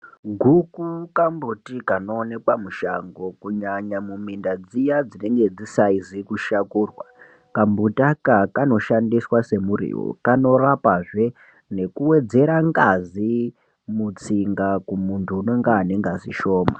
Guku kambuti kanoonekwa mushango kunyanya mumunda dziya dzisaizi kushakurwa kambuti aka kanoshandiswa se muriwo kanorapa zve nekuwedzere ngazi mutsinga kumuntu anenge anegazi shoma .